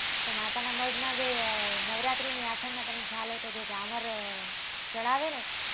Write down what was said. અચ્છા તો માતા નાં મઢ માં જે નવરાત્રી ની આઠમ ના તને ખ્યાલ હોય તો જે જામર ચડાવે છે